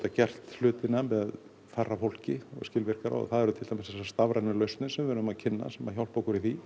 gert hlutina með færra fólki og skilvirkara það eru til dæmis þessar stafrænu lausnir sem við erum að kynna sem hjálpa okkur í því